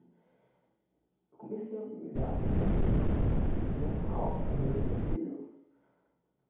Eu comecei a me humilhar, a pedir a Deus que me fizesse uma obra na vida do meu filho.